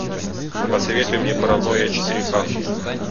посоветуй мне паранойя четыре ка